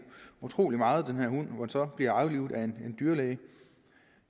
utrolig meget hvorefter blev aflivet en dyrlæge